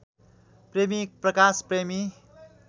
प्रेमी प्रकाश प्रेमी